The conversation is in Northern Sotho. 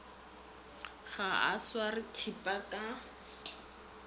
ga a sware thipa ka